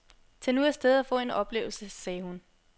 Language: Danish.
Tag nu af sted og få en oplevelse, sagde hun.